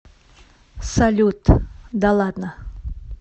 салют да ладно